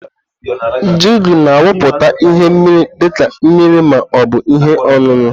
Jugu na awuputa ihe mmiri dị ka mmiri ma ọ bụ ihe ọṅụṅụ.